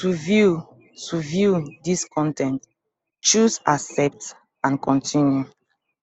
to view to view dis con ten t choose accept and continue